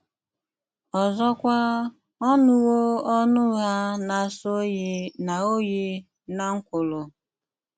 ọzọkwà, ọ́ nùwò ọnụ ugha ná-àsó òyí ná òyí ná ńkwùlù. um